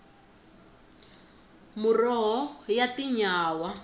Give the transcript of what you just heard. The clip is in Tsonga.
muroho ya tinyawa